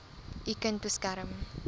u kind beskerm